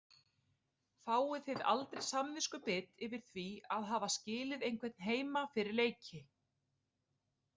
Fáið þið aldrei samviskubit yfir því að hafa skilið einhvern heima fyrir leiki?